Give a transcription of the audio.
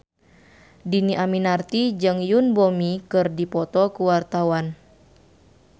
Dhini Aminarti jeung Yoon Bomi keur dipoto ku wartawan